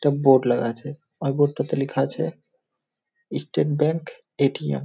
একটা বোর্ড লাগা আছে আর বোর্ড টাতে লিখা আছে ই স্টেট ব্যাঙ্ক এ.টি.এম. ।